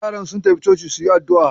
Yaran sun tafi coci su yi addu'a.